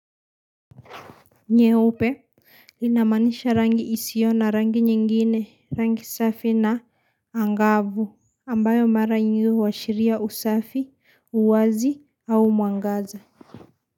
Nyeupe, inamaanisha rangi isio na rangi nyingine, rangi safi na angavu. Ambayo mara nyingi huashiria usafi, uwazi au mwangaza.